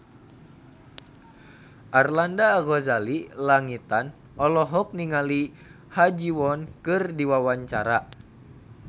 Arlanda Ghazali Langitan olohok ningali Ha Ji Won keur diwawancara